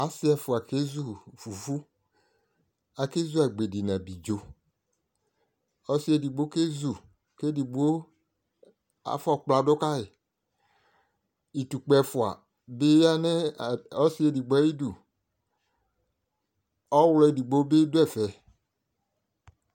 ase ɛfoa kezu fufu ake zu agbedi no abidzo ɔse edigbo kezu ko edigbo afɔ kpla do kayi itukpa ɛfoa bi ya no ɔse edigbo ayidu ɔwlɔ edigbo bi do ɛfɛ